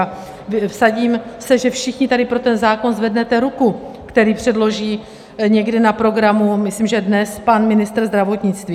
A vsadím se, že všichni tady pro ten zákon zvednete ruku, který předloží někdy na programu, myslím, že dnes, pan ministr zdravotnictví.